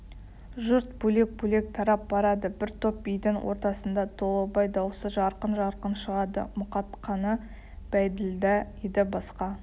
жұрт бөлек-бөлек тарап барады бір топ бидің ортасында толыбай даусы жарқын-жарқын шығады мұқатқаны бәйділда еді басқа